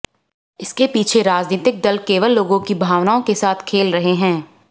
इसके पीछे राजनीतिक दल केवल लोगों की भावनाओं के साथ खेल रहे हैं